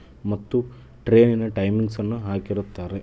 ಮತ್ತು ಟ್ರೈನ್ ನಾ ಟೈಮಿಂಗ್ಸ್ ಅನ್ನು ಹಾಕಿರುತಾರೆ.